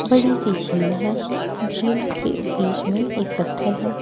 बड़ी सी झील है झील के बीच में एक पत्थर है।